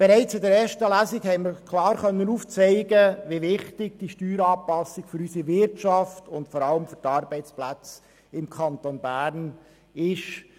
Bereits in der ersten Lesung konnten wir klar aufzeigen, wie wichtig diese Steueranpassung für unsere Wirtschaft und vor allem für die Arbeitsplätze im Kanton Bern ist.